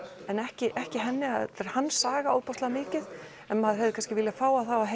en ekki ekki henni þetta er hans saga ofboðslega mikið maður hefði kannski viljað fá að